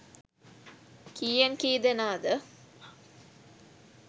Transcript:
කීයෙන් කී දෙනාද.